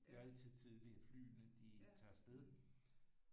Gøre det så tidligt at flyene de tager afsted